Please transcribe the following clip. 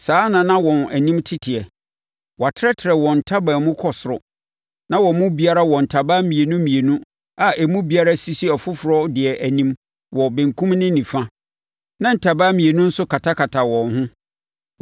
Saa na na wɔn anim teteɛ. Wɔatrɛtrɛ wɔn ntaban mu kɔ ɔsoro; na wɔn mu biara wɔ ntaban mmienu mmienu, a emu biara si ɔfoforɔ deɛ anim wɔ benkum ne nifa, na ntaban mmienu nso katakata wɔn ho.